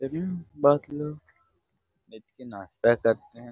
बैठ के नाश्ता करते हैं।